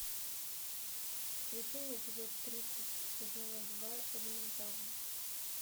включи мне эпизод тридцать сезона два элементарно